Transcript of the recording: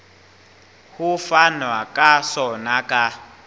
ho fanwa ka sona ka